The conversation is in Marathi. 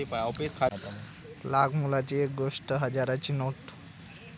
लाखमोलाची 'एक हजाराची नोट'